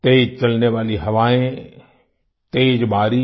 तेज चलने वाली हवाएँ तेज बारिश